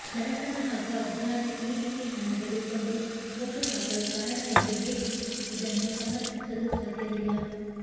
ಬಡತನ ಹಾಗೂ ಅಜ್ಞಾನ ಈ ರೀತಿ ಹಣ ತೆಗೆದುಕೊಂಡು ಓಟು ಹಾಕಲು ಕಾರಣ ಎಂದು ಹೇಳಿ ಇದನ್ನು ಸಮರ್ಥಿಸಲು ಸಾಧ್ಯವಿಲ್ಲ